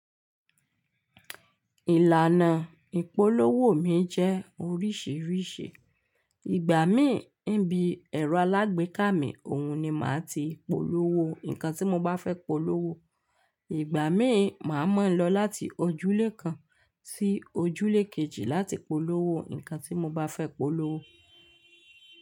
Ìlànà ìpolówó mi jẹ́ oríṣiríṣi. Ìgbà mí ńi bí ẹ̀rọ alágbèéká mi, òhun ni màá ti polówó nǹkan tí mo bá fẹ́ polówó. Ìgbà míì, màá mọ̀ ọ́n lọ láti ojúlé kan sí ojúlé kejì láti polówó nǹkan tí mo bá fẹ́ polówó.